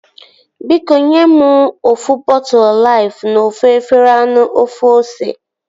Biko nye mụ ofu bọtụlu Laifu na ofu efere anụ ofe ose